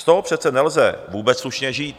Z toho přece nelze vůbec slušně žít!